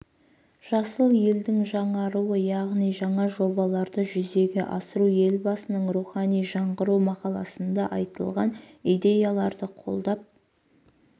жасыл елдің жаңаруы яғни жаңа жобаларды жүзеге асыру елбасының рухани жаңғыру мақаласында айтылған идеяларды қолдап